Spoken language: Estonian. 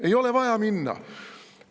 Ei ole vaja minna!